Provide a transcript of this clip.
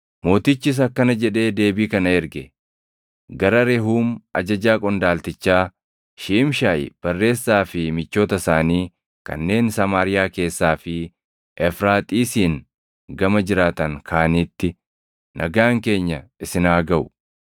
Mootichis akkana jedhee deebii kana erge: Gara Rehuum ajajaa qondaaltichaa, Shiimshaayi barreessaa fi michoota isaanii kanneen Samaariyaa keessaa fi Efraaxiisiin gama jiraatan kaaniitti: Nagaan keenya isin haa gaʼu.